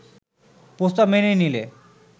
প্রস্তাব মেনে নিলে